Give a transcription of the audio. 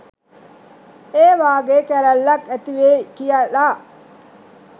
ඒ වගේ කැරැල්ලක් ඇතිවෙයි කියලා.